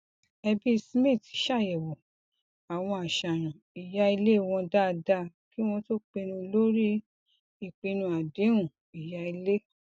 ẹbí smith ṣàyẹwò àwọn àṣàyàn ìya ilé wọn dáadáa kí wọn tó pinnu lórí ìpinnu adehun ìya ilé